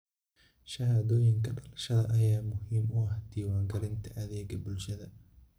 Shahaadooyinka dhalashada ayaa muhiim u ah diiwaangelinta adeegga bulshada.